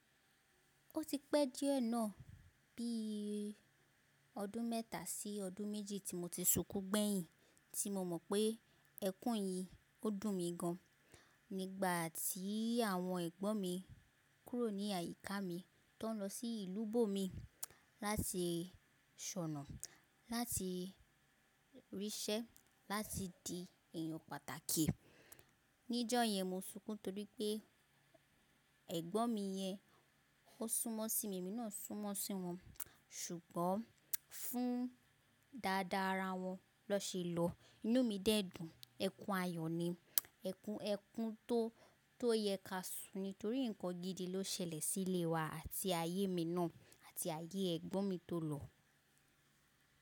Ó ti pẹ́ díẹ̀ náà, bí i ọdún mẹ́ta sí ọdún méjì tí mo ti sukú gbẹ̀yìn tí mo mọ̀ pé ẹkún yìí ó dùn mi gan. Nígbà tí àwọn ẹ̀gbọ́n mi kúrò ní àyíká mi tó ń lọ sí ìlú bòmí láti ṣọ̀nà, láti ríṣẹ́, láti di èèyàn pàtàkì. Níjó yẹn mo sunkún torí pé ẹ̀gbọ́n mi yẹn ó súnmọ́ sí mi, emi náà súnmọ́ sí wọn. Ṣùgbọ́n fún dáadáa ara wọn ló ṣe lọ. Inú mi dẹ́ dùn, ẹkún ayọ̀ ni, ẹkún ẹkún tó tó yẹ ká sùn torí nǹkan gidi ló ṣẹlẹ̀ sílé wa àti ayé mi náà àti ayé ẹ̀gbọ́n mi tó lọ.